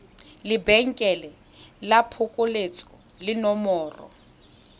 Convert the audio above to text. lebenkele la phokoletso le nomoro